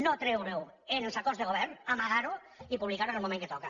no treure ho en els acords de govern amagar ho i publicar ho en el moment que toca